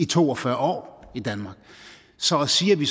to og fyrre år i danmark så at sige at vi